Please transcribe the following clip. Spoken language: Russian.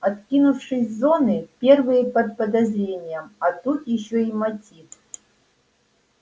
откинувшись с зоны первые под подозрением а тут ещё и мотив